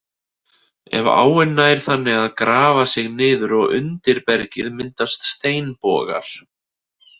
Ef áin nær þannig að grafa sig niður og undir bergið myndast steinbogar.